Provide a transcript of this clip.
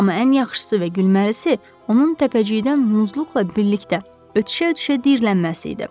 Amma ən yaxşısı və gülməlisi onun təpəcikdən Muzluqla birlikdə ötüşə-ötüşə diyirlənməsi idi.